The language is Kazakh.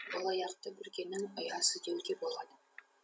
бұл аяқты бүргенің ұясы деуге болады